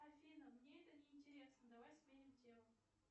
афина мне это не интересно давай сменим тему